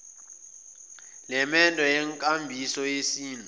lemendo yenkambiso yesintu